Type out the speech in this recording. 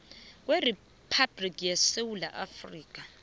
kweriphabhliki yesewula afrika